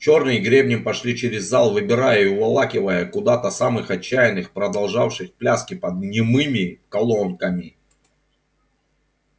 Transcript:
чёрные гребни пошли через зал выбирая и уволакивая куда-то самых отчаянных продолжавших пляски под немыми колонками